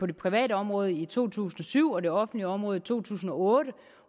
det private område i to tusind og syv og det offentlige område i to tusind og otte